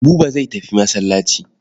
Buba zai tafi masallaci.